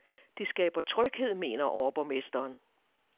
Det skaber tryghed, mener overborgmesteren.